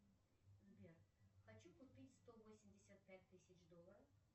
сбер хочу купить сто восемьдесят пять тысяч долларов